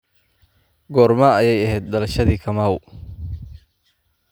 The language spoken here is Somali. goorma ayay ahayd dhalashadii kamau